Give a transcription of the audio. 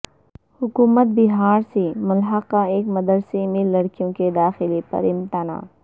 حکومت بہار سے ملحقہ ایک مدرسہ میں لڑکیوں کے داخلہ پر امتناع